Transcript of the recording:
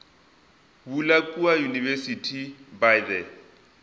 bula kua university by the